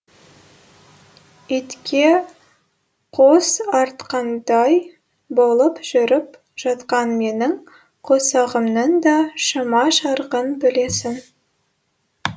итке қос артқандай болып жүріп жатқан менің қосағымның да шама шарқын білесің